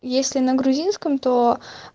если на грузинском то